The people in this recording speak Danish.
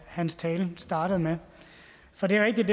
hans tale startede med for det er rigtigt